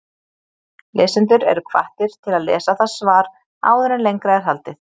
Lesendur eru hvattir til að lesa það svar áður en lengra er haldið.